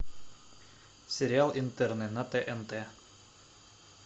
сериал интерны на тнт